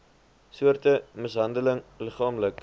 soorte mishandeling liggaamlik